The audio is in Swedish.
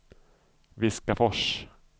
Viskafors